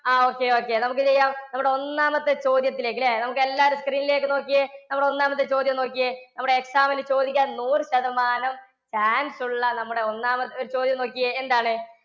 ആ Okay, okay നമുക്ക് ചെയ്യാം. നമ്മുടെ ഒന്നാമത്തെ ചോദ്യത്തിലേക്ക് ഇല്ലേ നമുക്ക് എല്ലാവരും screen ലേക്ക് നോക്കിയേ. നമ്മുടെ ഒന്നാമത്തെ ചോദ്യം നോക്കിയേ നമ്മുടെ exam ന് ചോദിക്കാൻ നൂറു ശതമാനം chance ഉള്ള നമ്മുടെ ഒന്നാമത്തെ ചോദ്യം നോക്കിക്കേ. എന്താണ്?